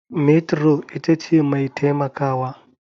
Metro itace mai taimakawa.